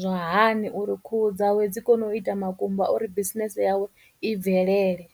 zwa hani uri khuhu dzawe dzi kone u ita makumba uri business yawe i bvelele.